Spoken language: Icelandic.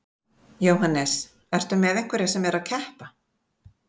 Jóhannes: Ertu með einhverja sem eru að keppa?